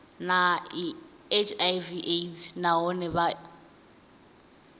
na hiv aids nahone vha